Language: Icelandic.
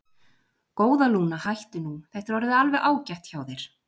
Góða, Lúna, hættu nú, þetta er orðið alveg ágætt hjá þér.